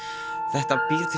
þetta býr til